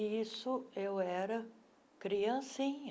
E isso eu era criancinha.